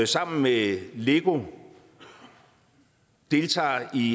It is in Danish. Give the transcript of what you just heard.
sammen med lego deltager i